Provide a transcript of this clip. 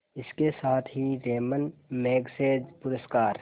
इसके साथ ही रैमन मैग्सेसे पुरस्कार